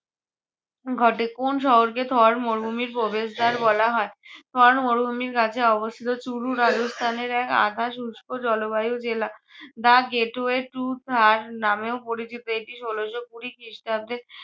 ঘটে। কোন্ শহরকে থর মরুভূমির প্রবেশদার বলা হয়? থর মরুভূমির কাছে অবস্থিত চুরু রাজস্থানের এক আধা শুস্ক জলবায়ু জেলা the gateway to thar নামেও পরিচিত। এটি ষোলোশো কুড়ি খ্রিস্টাব্দে